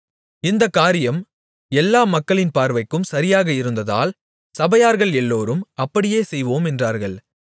இந்தக் காரியம் எல்லா மக்களின் பார்வைக்கும் சரியாக இருந்ததால் சபையார்கள் எல்லோரும் அப்படியே செய்வோம் என்றார்கள்